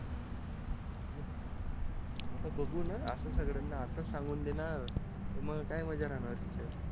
आता बघू ना असं सगळ्यांना आताच सांगून देना तर मग काय मज्जा राहणार तिथे